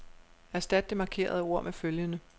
Erstat det markerede ord med følgende.